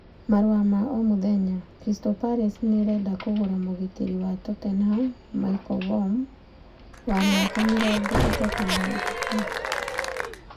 (Daily Mail) Crystal Palace nĩ ĩrenda kũgũra mũgitĩri wa Tottenham Michel Vorm, wa mĩaka 33.